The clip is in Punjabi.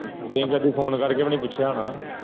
phone ਕਰਕੇ ਭੀ ਨੀ ਪੁੱਛਿਆ ਹੋਣਾ